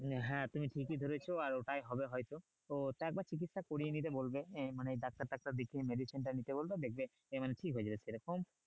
হ্যাঁ তুমি ঠিকই ধরছো আর ওটাই হবে হয়তো তো ওটা একবার চিকিৎসা করিয়ে নিতে বলবে যে মানে ডাক্তার টাক্তার দেখিয়ে medicine টা নিতে বলবে দেখবে যে মানে ঠিক হয়ে যাবে সেরকম